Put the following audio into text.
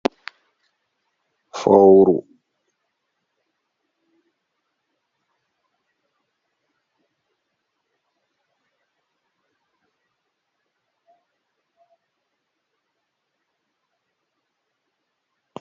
fawru ɗo dogga haa ladde